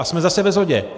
A jsme zase ve shodě.